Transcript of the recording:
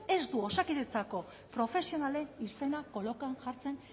ez du osakidetzako profesionalen izenak kolokan jartzen